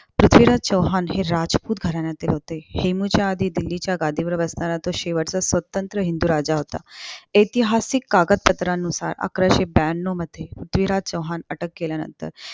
पृथ्वीराज चौहान हे राजपूत घराण्यातील होते. हेमूच्या आधी दिल्लीच्या गादीवर बसणारा तो शेवटचा स्वतंत्र हिंदू राजा होता. ऐतिहासिक कागद पत्रानुसार अकराशे ब्यान्नवमध्ये पृथ्वीराज चौहान अटक केल्यानंतर